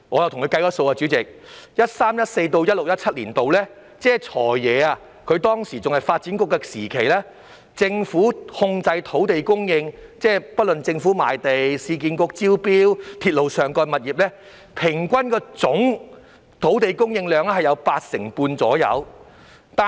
代理主席，在 2013-2014 年度至 2016-2017 年度，即"財爺"擔任發展局局長的時期，政府控制的土地供應，即政府賣地、市區重建局招標及鐵路物業發展項目等，平均都佔總土地供應量的八成半左右。